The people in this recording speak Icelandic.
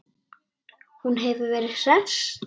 Hún hefur verið hress?